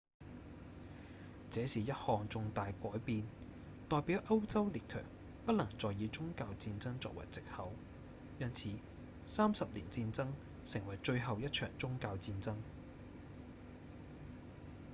這是一項重大改變代表歐洲列強不能再以宗教戰爭作為藉口因此三十年戰爭成為最後一場宗教戰爭